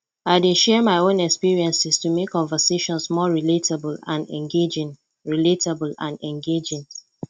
i dey share my own experiences to make conversations more relatable and engaging relatable and engaging